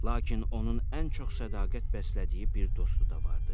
Lakin onun ən çox sədaqət bəslədiyi bir dostu da vardı.